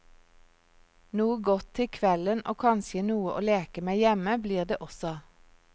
Noe godt til kvelden og kanskje noe å leke med hjemme blir det også.